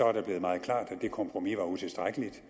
er det blevet meget klart at det kompromis var utilstrækkeligt